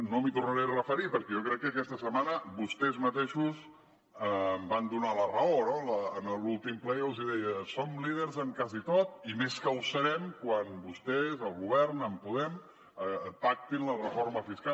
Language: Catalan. no m’hi tornaré a referir perquè jo crec que aquesta setmana vostès mateixos em van donar la raó no en l’últim ple jo els deia som líders en quasi tot i més que ho serem quan vostès el govern amb podem pactin la reforma fiscal